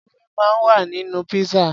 Ewé máa ń wà nínú pizza.